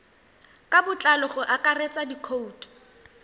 ka botlalo go akaretsa dikhoutu